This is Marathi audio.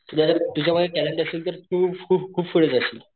तुझ्या तुझ्या मध्ये टॅलेंट असेल तर तू खूप खूप पुढे जाशील.